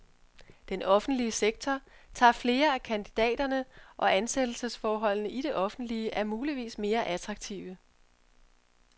Den offentlige sektor tager flere af kandidaterne, og ansættelsesforholdene i det offentlige er muligvis mere attraktive.